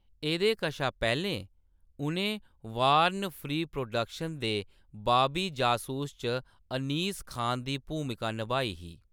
एह्‌‌‌दे कशा पैह्‌‌‌लें, उʼनें बार्न फ्री प्रोडक्शन दे बाबी जसूस च अनीस खान दी भूमिका नभाई ही।